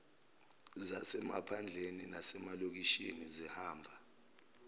zasemaphandleni nasemalokishini zihamba